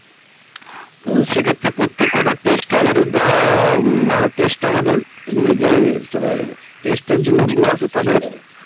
ত সেক্ষেত্রে প্রত্যেকটা test ধর উম আমাদের test আমাদের নিজের যারা test এর জন্য লোকগুলো আসে,